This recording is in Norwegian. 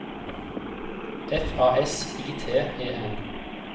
F A S I T E N